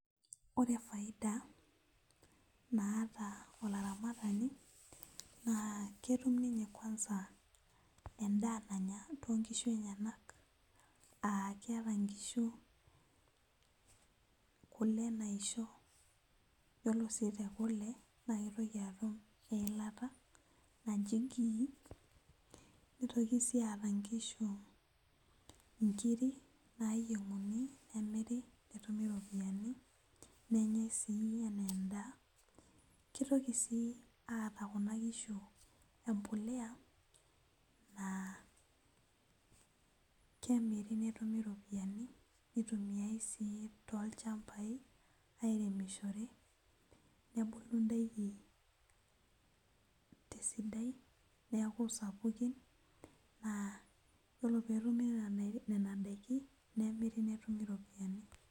Ore faida naata olaramatani naa ketum ninye kwanza endaa nanya tonkishu enyenak aa keeta inkishu kule naisho yiolo sii tekule naa keitoki atum eilata naji ghee nitoki sii aata inkishu inkiri nayieng'uni nemiri netumi iropiyiani nenyae sii enaa endaa kitoki sii aata kuna kishu empuleya naa kemiri netumi iropiyiani nitumiae sii tolchambai airemishore nebulu indaiki tesidai neku sapukin naa yiolo petumi nena daiki nemiri netumi iropiyiani.